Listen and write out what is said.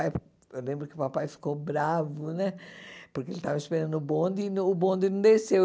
Pai, eu lembro que o papai ficou bravo né, porque ele estava esperando o bonde e o bonde não desceu.